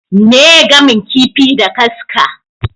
Meye gamin kifi da kaska?